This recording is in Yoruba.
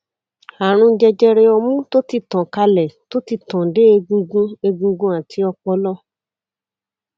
àrùn jẹjẹrẹ ọmú tó ti tàn kálẹ tó ti tàn dé egungun egungun àti ọpọlọ